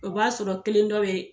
O b'a sɔrɔ kelen dɔ be